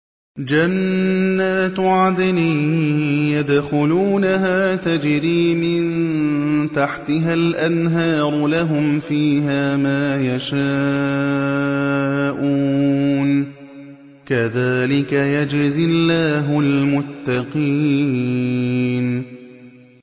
جَنَّاتُ عَدْنٍ يَدْخُلُونَهَا تَجْرِي مِن تَحْتِهَا الْأَنْهَارُ ۖ لَهُمْ فِيهَا مَا يَشَاءُونَ ۚ كَذَٰلِكَ يَجْزِي اللَّهُ الْمُتَّقِينَ